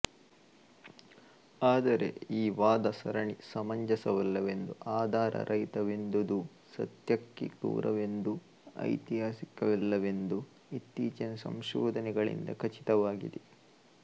ಆದರೆ ಈ ವಾದಸರಣಿ ಸಮಂಜಸವಲ್ಲವೆಂದೂ ಆಧಾರರಹಿತವಾದುದೆಂದೂ ಸತ್ಯಕ್ಕೆ ದೂರವೆಂದೂ ಐತಿಹಾಸಿಕವಲ್ಲವೆಂದೂ ಇತ್ತೀಚಿನ ಸಂಶೋಧನಗಳಿಂದ ಖಚಿತವಾಗಿದೆ